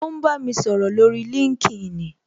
O ń bá mi sọ̀rọ̀ lórí LinkedIn